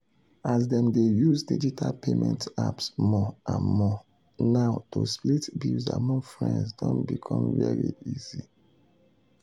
as dem dey use digital payment apps more and more now to split bills among friends don become very easy.